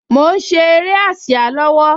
Mo ń ṣe eré ásíá lọ́wọ́